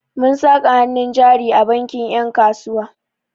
Mun saka hannun jari a bankin 'yan kasuwa.